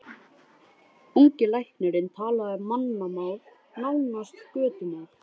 Ungi læknirinn talaði mannamál, nánast götumál.